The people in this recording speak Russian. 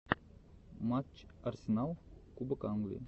матч арсенал кубок англии